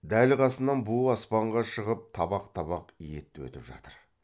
дәл қасынан буы аспанға шығып табақ табақ ет өтіп жатыр